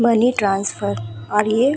money transfer और ये --